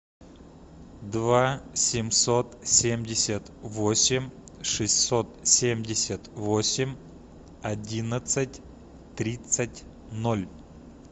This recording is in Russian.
два семьсот семьдесят восемь шестьсот семьдесят восемь одиннадцать тридцать ноль